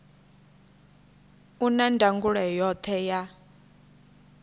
u na ndangulo yoṱhe ya